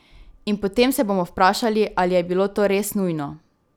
In potem se bomo vprašali, ali je bilo to res nujno?